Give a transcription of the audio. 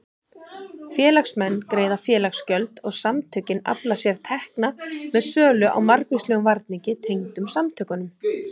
Félagsmenn greiða félagsgjöld og samtökin afla sér tekna með sölu á margvíslegum varningi tengdum samtökunum.